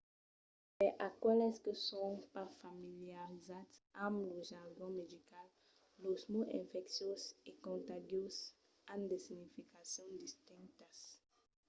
per aqueles que son pas familiarizats amb lo jargon medical los mots infecciós e contagiós an de significacions distintas